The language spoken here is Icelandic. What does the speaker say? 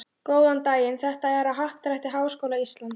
Góðan daginn, þetta er á Happadrætti Háskóla Íslands.